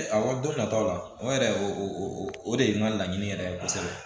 Aw don nataw la o yɛrɛ o o de ye n ka laɲini yɛrɛ ye kosɛbɛ